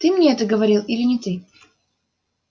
ты мне это говорил или не ты